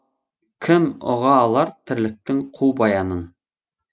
кім ұға алар тірліктің қу баянын